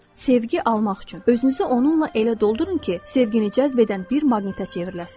Sevgi almaq üçün özünüzü onunla elə doldurun ki, sevgini cəzb edən bir maqnitə çevriləsiniz.